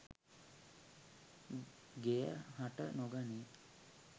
ගෙය හට නොගනියි.